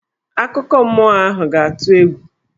Akụkọ mmụọ ahụ ga-atụ egwu.